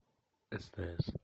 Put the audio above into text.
стс